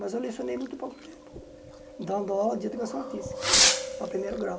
Mas eu lecionei muito pouco tempo, dando aula de educação artística, para primeiro grau.